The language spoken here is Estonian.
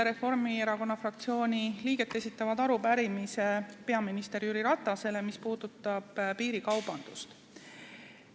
Reformierakonna fraktsiooni 19 liiget esitavad peaminister Jüri Ratasele arupärimise, mis puudutab piirikaubandust.